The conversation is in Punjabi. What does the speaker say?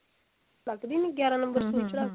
ਲੱਗਦੀ ਨਹੀਂ ਗਿਆਰਾ number ਸੁਈ ਚੜਾਕੇ